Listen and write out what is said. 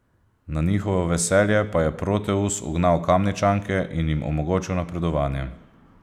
Na njihovo veselje pa je Proteus ugnal Kamničanke in jim omogočil napredovanje.